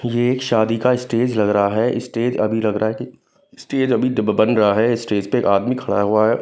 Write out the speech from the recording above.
ये एक शादी का स्टेज लग रहा है स्टेज अभी लग रहा है कि स्टेज अभी बन रहा है स्टेज पर आदमी खड़ा हुआ--